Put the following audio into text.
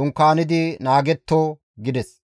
dunkaanidi naagetto» gides.